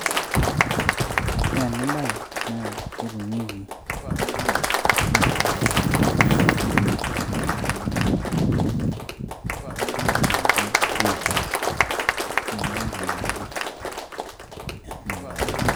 ore ena naa ketumieki tenintumia enkaji naji greenhouse.